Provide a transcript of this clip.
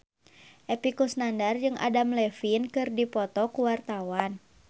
Epy Kusnandar jeung Adam Levine keur dipoto ku wartawan